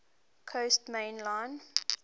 coast main line